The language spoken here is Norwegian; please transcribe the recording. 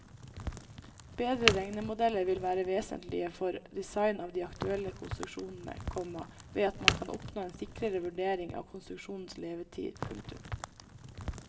Bedre regnemodeller vil være vesentlige for design av de aktuelle konstruksjonene, komma ved at man kan oppnå en sikrere vurdering av konstruksjonens levetid. punktum